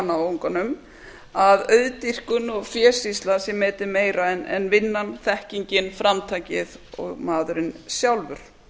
náunganum að auðdýrkun og fésýsla sé metin meira en vinnan þekkingin framtakið og maðurinn sjálfur